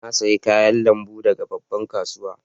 Na siya kayan lambun daga babban kasuwan.